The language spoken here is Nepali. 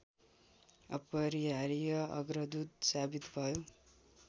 अपरिहार्य अग्रदूत साबित भयो